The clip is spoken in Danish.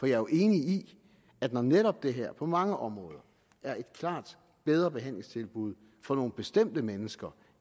jo enig i at når netop det her på mange områder er et klart bedre behandlingstilbud for nogle bestemte mennesker